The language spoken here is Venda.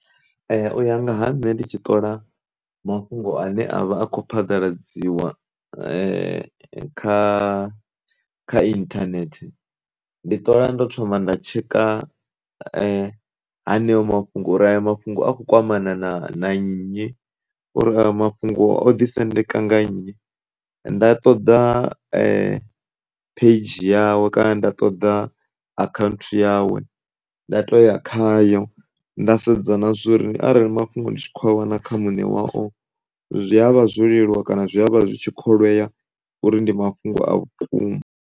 U ya nga ha nṋe ndi tshi ṱola mafhungo ane a vha a kho phaḓaladziwa kha internet ndi ṱola ndo thoma nda tshekha haneyo mafhungo uri a yo mafhungo a kho kwamana na nnyi, uri aya mafhungo o ḓi sendeka nga nnyi, nda ṱoḓa page yawe kana nda ṱoḓa account yawe nda to ya khayo nda sedza na zwori ara mafhungo ndi tshi kho a wana kha mune wao zwi avha zwo leluwa kana zwi avha zwi tshi kholwea uri ndi mafhungo a vhukuma.